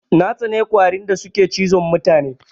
Na tsani ƙwarin da suke cizon mutane.